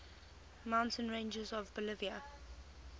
mountain ranges of bolivia